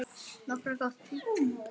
Nokkuð gott, finnst þér ekki?